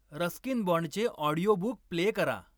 Ruskin बाँडचे audiobook play करा